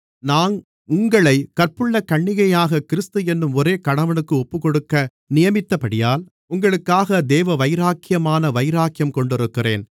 நான் உங்களைக் கற்புள்ள கன்னிகையாகக் கிறிஸ்து என்னும் ஒரே கணவனுக்கு ஒப்புக்கொடுக்க நியமித்தபடியால் உங்களுக்காக தேவவைராக்கியமான வைராக்கியம் கொண்டிருக்கிறேன்